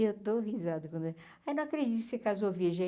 Eu dou risada quando... Ai, não acredito que você casou virgem.